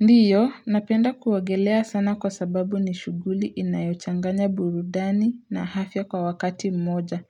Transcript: Ndiyo, napenda kuogelea sana kwa sababu ni shughuli inayochanganya burudani na afya kwa wakati mmoja.